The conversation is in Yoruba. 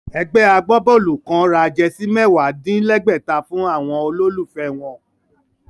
Ẹgbẹ́ agbábọ́ọ̀lù kán ra jẹsí mẹ́wàá-dín-lẹ́gbẹ̀ta fún àwọn olólùfẹ́ wọn